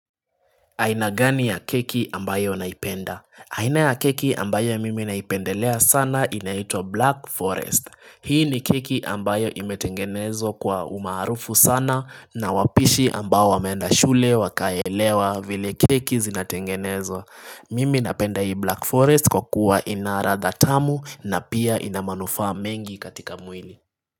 Aina gani ya keki ambayo naipenda? Aina ya keki ambayo mimi naipendelea sana inaitwa Black Forest. Hii ni keki ambayo imetengenezwa kwa umaarufu sana na wapishi ambayo wameenda shule wakaelewa vile keki zinatengenezwa. Mimi napenda hii Black Forest kwa kuwa ina ladha tamu na pia ina manufaa mengi katika mwili.